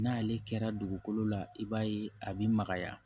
N'ale kɛra dugukolo la i b'a ye a bɛ magaya